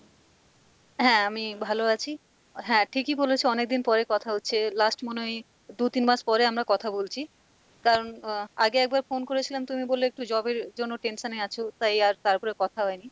হ্যাঁ, আমি ভালো আছি হ্যাঁ ঠিকই বলেছো অনেকদিন পরে কথা হচ্ছে last মনে হয় দু তিন মাস পরে আমরা কথা বলছি কারণ আহ আগে একবার phone করেছিলাম তুমি বললে একটু job এর জন্য tension এ আছো তাই আর তারপরে কথা হয়নি,